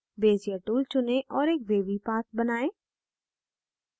bezier tool चुनें और एक wavy path बनाएं